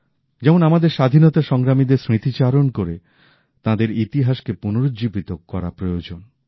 যেমন আমাদের স্বাধীনতা সংগ্রামীদের স্মৃতিচারণ করে তাঁদের ইতিহাস কে পুনরুজ্জীবিত করা প্রয়োজন